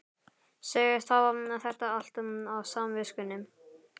Segist hafa þetta allt á samviskunni.